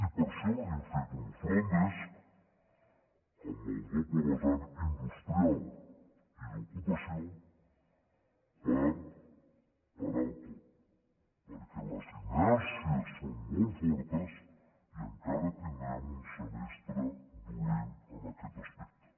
i per això hem fet un front desk amb el doble vessant industrial i d’ocupació per parar el cop perquè les inèrcies són molt fortes i encara tindrem un semestre dolent en aquest aspecte